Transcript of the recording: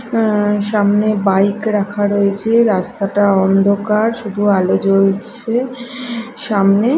অ্যা সামনে বাইক রাখা রয়েছে রাস্তাটা অন্ধকার শুধু আলো জ্বলছে সামনে।